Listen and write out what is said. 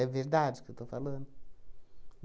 verdade o que eu estou falando?